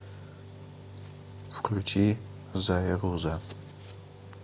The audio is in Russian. включи зируза